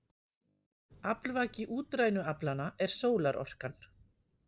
Aflvaki útrænu aflanna er sólarorkan.